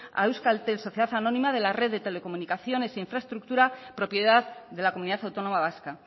a euskaltel sociedad anónima de la red de comunicaciones e infraestructura propiedad de la comunidad autónoma vasca